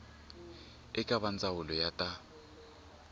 eka va ndzawulo ya ta